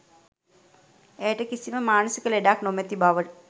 ඇයට කිසිම මානසික ලෙඩක් නොමැති බව